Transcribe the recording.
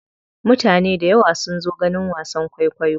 Mutane dayawa sun zo ganin wasan kwaikwayo.